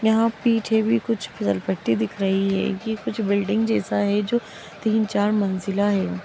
यहाँ पीछे भी कुछ फीसलपट्टी दिख रही है ये कुछ बिल्डिंग जैसा है जो तीन चार मंजिला हैं।